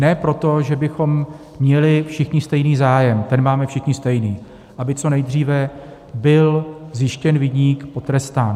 Ne proto, že bychom měli všichni stejný zájem, ten máme všichni stejný - aby co nejdříve byl zjištěn viník, potrestán.